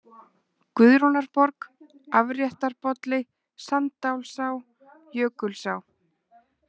Guðrúnarborg, Afréttarbolli, Sanddalsá, Jökulsá